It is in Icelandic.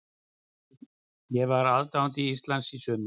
Ég var aðdáandi Íslands í sumar.